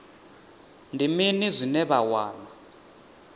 ndi mini zwine vha wana